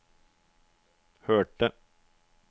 hørte